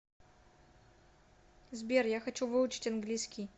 сбер я хочу выучить английский